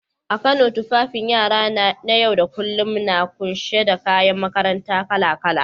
A Kano, tufafin yara na yau da kullum na kunshe da kayan makaranta kala-kala.